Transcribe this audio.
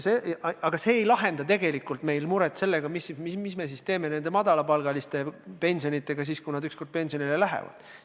Aga see ei lahenda tegelikult muret selle pärast, mis me teeme madalapalgaliste inimeste pensionidega, kui nad ükskord pensionile on läinud.